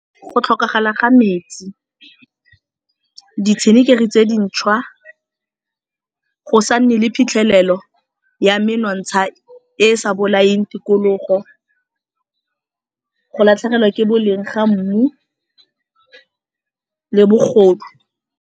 Go tlhokagala ga metsi, ditshenekegi tse dintšhwa, go sa nne le phitlhelelo ya menontsha e sa bolaeng tikologo, go latlhegelwa ke boleng ga mmu le bogodu.